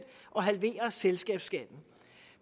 og halverer selskabsskatten